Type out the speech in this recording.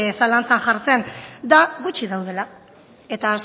zalantzan jartzen da gutxi daudela eta